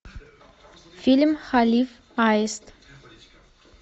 фильм калиф аист